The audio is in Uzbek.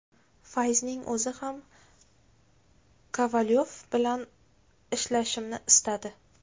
Fayzining o‘zi ham Kovalyov bilan ishlashimni istadi.